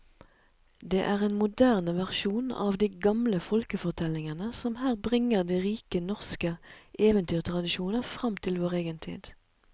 Det er en moderne versjon av de gamle folkefortellingene som her bringer de rike norske eventyrtradisjoner fram til vår egen tid.